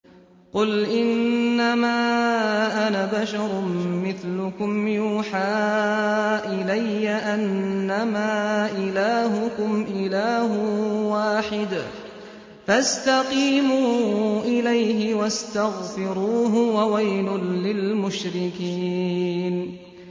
قُلْ إِنَّمَا أَنَا بَشَرٌ مِّثْلُكُمْ يُوحَىٰ إِلَيَّ أَنَّمَا إِلَٰهُكُمْ إِلَٰهٌ وَاحِدٌ فَاسْتَقِيمُوا إِلَيْهِ وَاسْتَغْفِرُوهُ ۗ وَوَيْلٌ لِّلْمُشْرِكِينَ